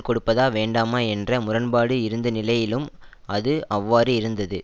கொடுப்பதா வேண்டாமா என்ற முரண்பாடு இருந்த நிலையிலும் அது அவ்வாறு இருந்தது